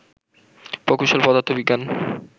প্রকৌশল, পদার্থবিজ্ঞান